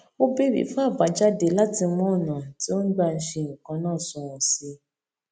ó béèrè fún àbàjáde láti mú ọnà tí ó gbà ń ṣe nǹkan náà sunwòn sí i